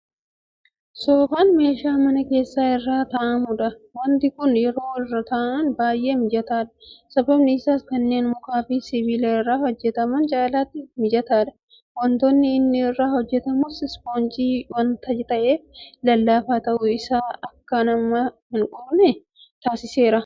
Soofaan meeshaa mana keessaa irra taa'amudha. Waanti kun yeroo irra taa'an baay'ee mijataadha. Sababni isaas kanneen mukaafi sibiila irraa hojjetaman caalaatti mijataadha. Waantonni inni irraa hojjetamus ispoonjii waanta ta'eef lallaafaa ta'uun isaa akka nama hinquuqne taasiseera.